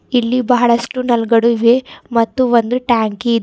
ಇಲ್ಲಿ ಬಹಳಷ್ಟು ನಲ್ ಗಳು ಇವೆ ಮತ್ತೆ ಒಂದು ಟ್ಯಾಂಕಿ ಇದೆ.